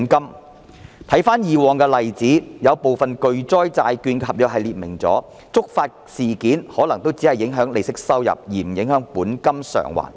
我回看過往的例子，有部分巨災債券的合約訂明了觸發事件可能只會影響利息收入，而不影響本金償還。